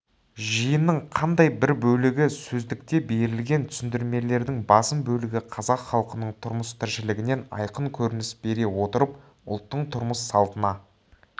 жиынның қандай бір бөлігі сөздікте берілген түсіндірмелердің басым бөлігі қазақ халқының тұрмыс-тіршілігінен айқын көрініс бере отырып ұлттың тұрмыс-салтына